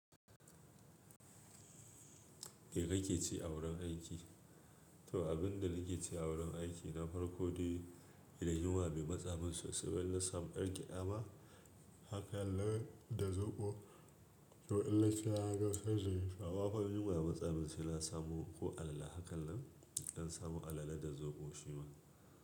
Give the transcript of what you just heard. Me ka ke ci a wurin aiki? To abin da nake ci a wurin aiki na farko dai idan yunwa bai matsamin sosai ba in na samu ɗan geda hakan nan da zoɓo. To in na sha zan aje, amma fa in yunwa ya matsamin sai na samu ko alale hakan nan, in ɗan samu alale da zoɓo shi ma.